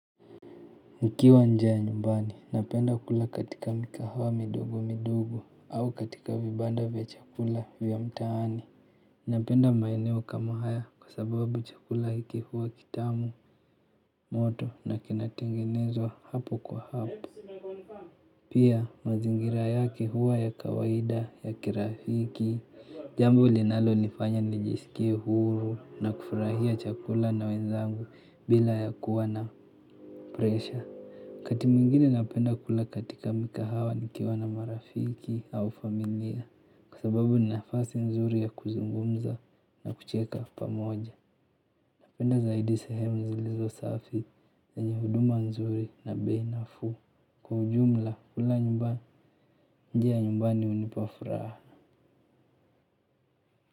Nikiwa njaa nyumbani napenda kula katika mikahawa midogo midogo au katika vibanda vya chakula vya mtaani. Napenda maeneo kama haya kwa sababu chakula hiki huwa kitamu moto na kinatengenezwa hapo kwa hapo. Pia mazingira yake huwa ya kawaida ya kirafiki, jambo linalonifanya nijisikie huru na kufurahia chakula na wezangu bila ya kuwa na pressure wakati mwingine napenda kula katika mikahawa nikiwa na marafiki au familia kwa sababu ni nafasi nzuri ya kuzungumza na kucheka pamoja. Napenda zaidi sehemu zilizo safi na zenye huduma nzuri na bei nafuu. Kwa ujumla kula nyumba nje ya nyumbani hunipa furahana.